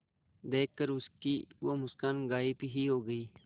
देखकर उसकी वो मुस्कान गायब ही हो गयी